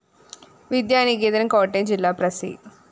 വിദ്യാനികേതന്‍ കോട്ടയം ജില്ലാ പ്രസി